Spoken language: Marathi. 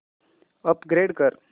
अपग्रेड कर